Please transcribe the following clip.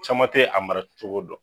Caman te a mara cogo dɔn